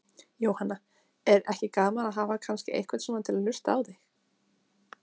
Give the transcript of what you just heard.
Jóhanna: Er ekki gaman að hafa kannski einhvern svona til að hlusta á þig?